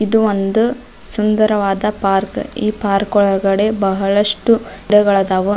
ಇದು ಒಂದು ಸುಂದರವಾದ ಪಾರ್ಕ್ ಈ ಪಾರ್ಕ್ ಒಳಗಡೆ ಬಹಳಷ್ಟು ಗುಡ್ಡಗಳಾದವ.